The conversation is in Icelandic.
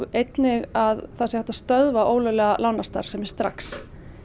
einnig að það sé hægt að stöðva ólöglega lánastarfsemi strax í